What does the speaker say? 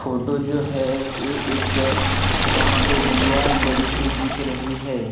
Photo जो है ये एक वहां पे दीवार बड़ी सी दिख रही है।